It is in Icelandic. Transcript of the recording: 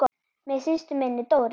Með systur minni, Dóru.